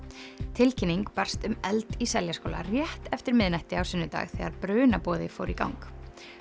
tilkynning barst um eld í Seljaskóla rétt eftir miðnætti á sunnudag þegar fór í gang